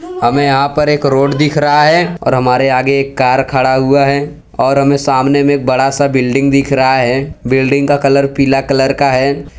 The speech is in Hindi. हमें यहां पर एक रोड दिख रहा है और हमारे आगे एक कार खड़ा हुआ है और हमें सामने में एक बड़ा सा बिल्डिंग दिख रहा है बिल्डिंग का कलर पीला कलर का है।